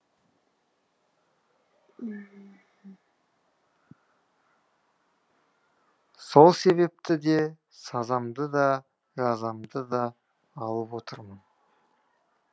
сол себепті де сазамды да жазамды да алып отырмын